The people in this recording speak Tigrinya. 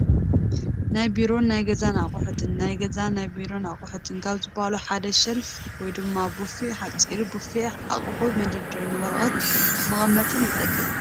ናይ ቢሮን ናይ ገዛን ኣቕሑት፡- ናይ ገዛን ናይ ቢሮን ኣቕሑት ካብ ዝባሃሉ ሓደ ሸልፍ ወይ ድማ ቡፊ እዩ፡፡ ሓፂር ቡፊ ኣቕሑ መደርደርን ወረቐት መቐመጥን ይጠቅም፡፡